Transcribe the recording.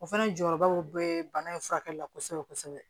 O fana jɔyɔrɔbaw be bana in furakɛli la kosɛbɛ kosɛbɛ